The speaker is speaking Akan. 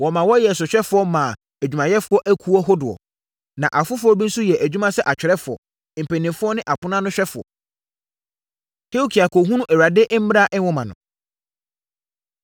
wɔmaa wɔyɛɛ sohwɛfoɔ maa adwumayɛfoɔ akuo hodoɔ. Na afoforɔ bi nso yɛɛ adwuma sɛ atwerɛfoɔ, mpanimfoɔ ne aponoanohwɛfoɔ. Hilkia Kɔhunu Awurade Mmara Nwoma No